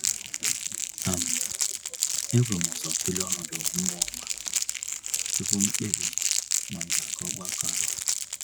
um Eburum ụzọ tụlee ọnọdụ mmụọ ma, tupu m kpebi ma m ga-aga ogbakọ ahụ.